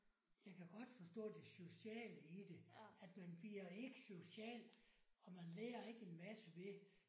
Jeg kan godt forstå det sociale i det at man bliver ikke social og man lærer ikke en masse ved